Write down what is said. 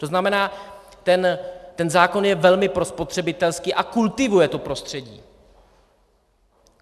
To znamená, ten zákon je velmi prospotřebitelský a kultivuje to prostředí.